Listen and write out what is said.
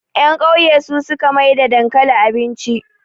yankauye su suka maida dankali abinci